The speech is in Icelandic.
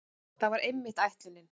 Það var einmitt ætlunin.